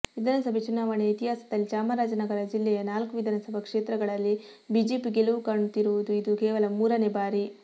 ವಿಧಾನಸಭೆ ಚುನಾವಣೆಯ ಇತಿಹಾಸದಲ್ಲಿ ಚಾಮರಾಜನಗರ ಜಿಲ್ಲೆಯ ನಾಲ್ಕು ವಿಧಾನಸಭಾ ಕ್ಷೇತ್ರಗಳಲ್ಲಿ ಬಿಜೆಪಿ ಗೆಲುವು ಕಾಣುತ್ತಿರುವುದು ಇದು ಕೇವಲ ಮೂರನೇ ಬಾರಿ